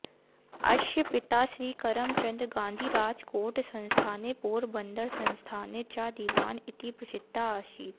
अस्य पिता श्री करमचन्द गान्धी राजकोटसंस्थाने पोरबन्दरसंस्थाने च दिवान् इति प्रसिद्धः आसीत्